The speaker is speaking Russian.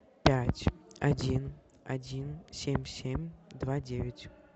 пять один один семь семь два девять